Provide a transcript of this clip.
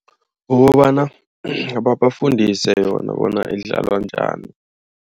Kukobana babafundise yona bona idlalwa njani.